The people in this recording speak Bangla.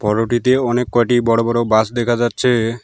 ফোটোটিতে অনেক কয়টি বড় বড় বাস দেখা যাচ্ছেএ।